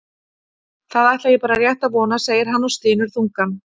Það ætla ég bara rétt að vona, segir hann og stynur þungan.